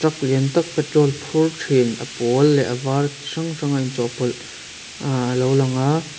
truck lian tak petrol phur thin a pawl leh a var chi hrang hrang a in chawh pawlh ahh alo lang a.